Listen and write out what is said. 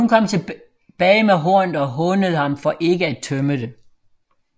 Men hun kom tilbage med hornet og hånede ham for ikke at tømme det